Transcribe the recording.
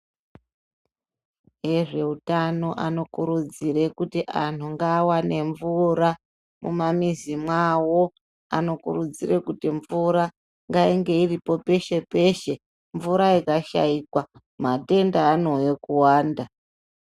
Ezveutano anokurudzire kuti anhu ngaawane mvura mumwamizi mwavo. Anokurudzire kuti mvura ngainge iripo peshe-peshe. Mvura ikashaikwa, matenda anouye kuwanda.